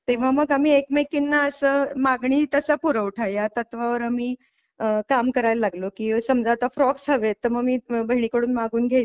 तेव्हा मग आम्ही एकमेकींना असं मागणी तसा पुरवठा या तत्त्वावर आम्ही काम करायला लागलो की समजा आता फ्रॉक्स हवेत तर मग मी बहिणीकडून मागवून घ्यायचे.